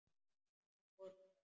Mamma fór fram.